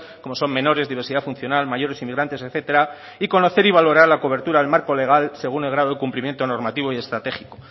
como son menores diversidad funcional mayores inmigrantes etcétera y conocer y valorar la cobertura del marco legal según el grado de cumplimiento normativo y estratégico